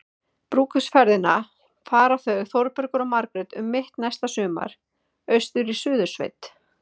Brúðkaupsferðina fara þau Þórbergur og Margrét um mitt næsta sumar- austur í Suðursveit.